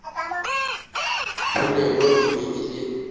polelo e be e le